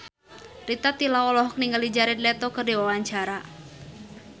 Rita Tila olohok ningali Jared Leto keur diwawancara